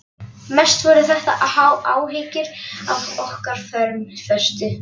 Mest voru þetta áhyggjur af okkar formföstu